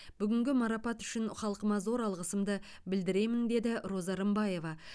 бүгінгі марапат үшін халқыма зор алғысымды білдіремін деді роза рымбаева